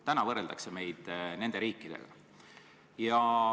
Praegu võrreldakse meid nende riikidega.